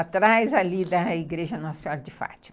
Atrás ali da igreja Nossa Senhora de Fátima.